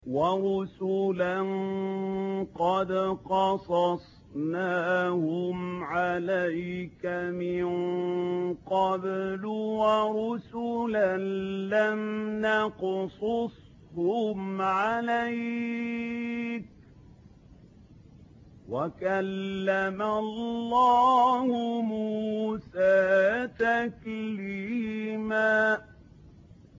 وَرُسُلًا قَدْ قَصَصْنَاهُمْ عَلَيْكَ مِن قَبْلُ وَرُسُلًا لَّمْ نَقْصُصْهُمْ عَلَيْكَ ۚ وَكَلَّمَ اللَّهُ مُوسَىٰ تَكْلِيمًا